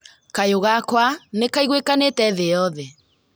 Kayũ gakwa nĩkaiguĩkanĩte thĩ yoothe